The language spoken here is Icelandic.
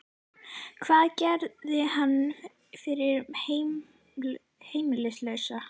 Hvað gerir það fyrir heimilislausa?